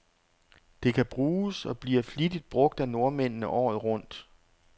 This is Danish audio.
Det kan bruges, og bliver flittigt brug af nordmændene, året rundt.